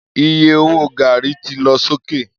Iye owó gàrí ti lọ sókè.